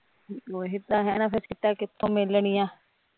ਓਹੀ ਤਾਂ ਹੈਂ ਨਾ ਫਿਰ ਸੀਟਾਂ ਕਿਥੋਂ ਮਿਲਣੀਆ